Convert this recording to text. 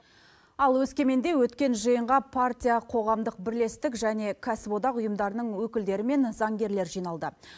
ал өскеменде өткен жиынға партия қоғамдық бірлестік және кәсіподақ ұйымдарының өкілдері мен заңгерлер жиналды